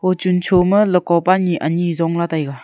wo chun cho ma leko pa nyi anyi jong la taiga.